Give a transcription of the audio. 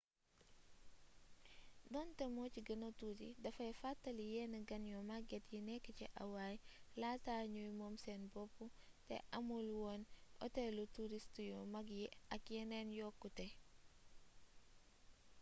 donte mo ci gëna tuuti dafay fàttali yenn gan yu magget yi nekk ci hawaii laata ñuy moom seen bopp te amul woon otelu turist yu mag yi ak yeneen yokkute